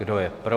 Kdo je pro?